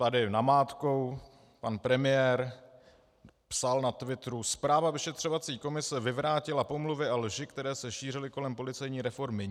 Tady namátkou - pan premiér psal na Twitteru: Zpráva vyšetřovací komise vyvrátila pomluvy a lži, které se šířily kolem policejní reformy.